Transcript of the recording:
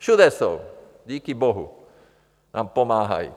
Všude jsou, díky bohu nám pomáhají.